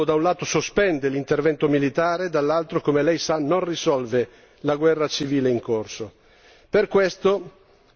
Tuttavia, se questo fatto nuovo, da un lato, sospende l'intervento militare, dall'altro, come lei sa, non risolve la guerra civile in corso.